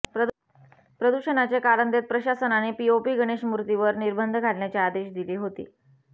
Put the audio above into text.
प्रदूषणाचे कारण देत प्रशासनाने पीओपी गणेश मूर्तीवर निर्बंध घालण्याचे आदेश दिली होते